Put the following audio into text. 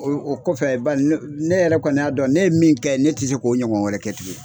O kɔfɛ ne yɛrɛ kɔni y'a dɔn ne ye min kɛ ne tɛ se k'o ɲɔgɔn wɛrɛ kɛ tuguni